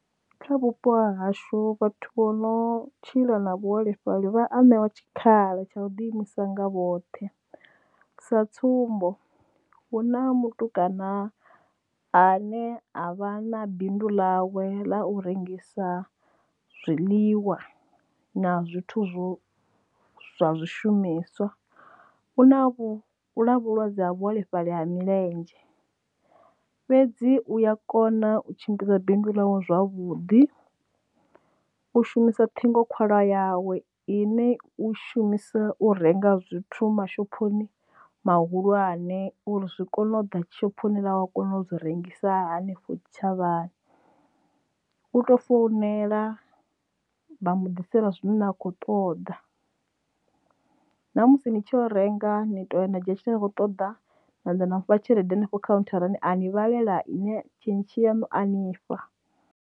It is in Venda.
Kha vhupo hashu vhathu vho no tshila na vhuholefhali vha a ṋewa tshikhala tsha u ḓi imisa nga vhoṱhe, sa tsumbo hu na mutukana ane avha na bindu ḽawe ḽa u rengisa zwiḽiwa na zwithu zwo zwa zwishumiswa u na vhulwadze ha vhu holefhali ha milenzhe. Fhedzi u ya kona u tshimbidza binduḽawe zwavhuḓi u shumisa ṱhingo khwalwa yawe ine u shumisa u renga zwithu mashophoni mahulwane uri zwi kone u ḓa shophoni ḽa we a kona u dzi rengisa hanefho tshitshavhani u tou founela vha mu ḓisela zwine a khou ṱoḓa na musi ni tshi renga ni to na dzhia tshine nda kho ṱoḓa naḓa na tshelede hanefho kha khauntharani a ni vhalela yone tshentshi yaṋu a nifha.